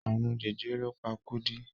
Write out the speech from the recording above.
Àrùn jẹjẹrẹ ló pa Kúdí.